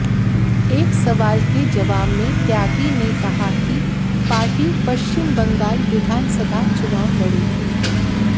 एक सवाल के जवाब में त्यागी ने कहा कि पार्टी पश्चिम बंगाल विधानसभा चुनाव लड़ेगी